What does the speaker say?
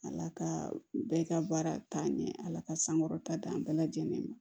Ala ka bɛɛ ka baara taa ɲɛ ala ka sankɔrɔta d'an bɛɛ lajɛlen ma